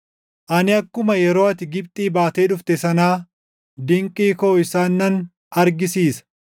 “Ani akkuma yeroo ati Gibxii baatee dhufte sanaa dinqii koo isaan nan argisiisa.”